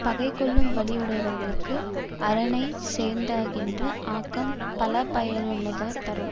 பகை கொள்ளும் வலியுடையவர்க்கு அரணை சேர்ந்தாகின்ற ஆக்கம் பலபயனையுந் தரும்